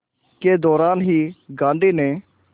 के दौरान ही गांधी ने